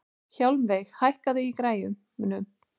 Hjálmveig, hækkaðu í græjunum.